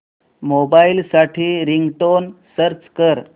mobile साठी ringtone search कर